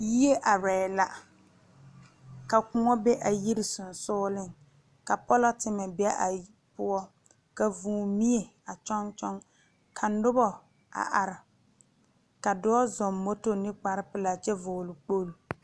Yie arɛɛ la ka kõɔ be a yiri seŋsugliŋ ka polɔtemɛ be a poɔ ka vūū mie a kyɔŋ kyɔŋ ka nobɔ a are ka dɔɔ zɔŋ moto ne kparepelaa kyɛ vɔgle kpogle.